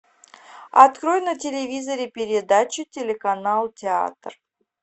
открой на телевизоре передачу телеканал театр